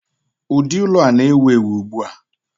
ụdị ụlọ a na-ewu ewu ugbu a